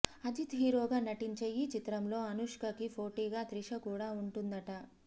అజిత్ హీరోగా నటించే ఈ చిత్రంలో అనుష్కకి పోటీగా త్రిష కూడా ఉంటుందట